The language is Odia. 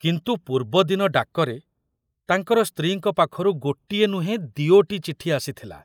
କିନ୍ତୁ ପୂର୍ବଦିନ ଡାକରେ ତାଙ୍କର ସ୍ତ୍ରୀଙ୍କ ପାଖରୁ ଗୋଟିଏ ନୁହେଁ ଦିଓଟି ଚିଠି ଆସିଥିଲା।